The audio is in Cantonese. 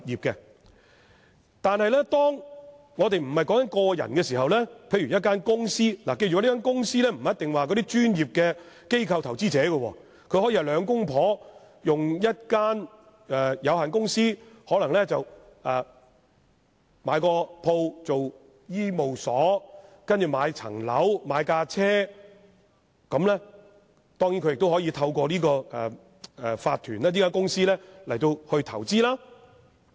若不是個人而是公司，大家首先須記得所謂公司，並不一定是指專業的機構投資者，可以是夫婦開設的有限公司，用以購入商鋪作醫務所，繼而購買物業單位、汽車，當然也可透過這類法團、公司進行投資。